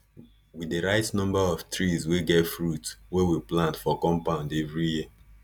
we dey write number of trees wey get fruit wey we plant for compound everi year